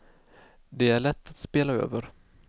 Det är lätt att spela över.